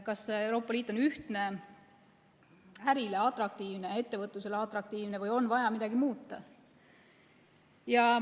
Kas Euroopa Liit on ühtne ning ärile ja ettevõtlusele atraktiivne või on vaja midagi muuta?